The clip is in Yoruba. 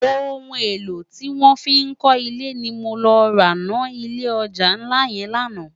Óoun élò tiwòn fi n kò ilé ni mó lò rá no ilé òjá nlá yèn làná